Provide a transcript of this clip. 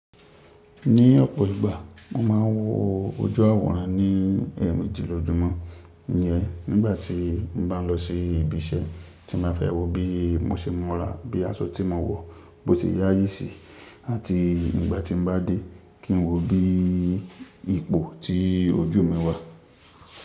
Ní ọ̀pọ̀ ìgbà, mo máa ń wo ojú àwòrán ní ẹ̀ẹ̀mejì lójúmọ́. Ǹyẹ́ nígbàtí n bá lọ sí ibi iṣẹ́ tí máa fi wò bí mọ́ ṣe mura, bí aṣọ tí mo wọ̀ bó ti yáyí sí àti nígbàtí n bá dé kí n wò bí ipò tí ojú mi wà.